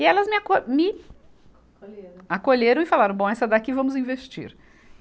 E elas me aco, me. Acolheram. Acolheram e falaram, bom, essa daqui vamos investir.